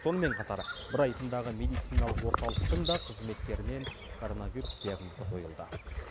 сонымен қатар брайтондағы медициналық орталықтың да қызметкерінен коронавирус диагнозы қойылды